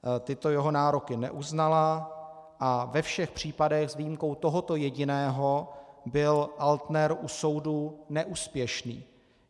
Tyto jeho nároky neuznala a ve všech případech s výjimkou tohoto jediného byl Altner u soudu neúspěšný.